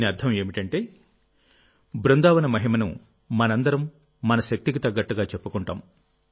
దీని అర్థం ఏమిటంటే బృందావన మహిమనుమనందరం మన శక్తికి తగ్గట్టుగా చెప్పుకుంటాం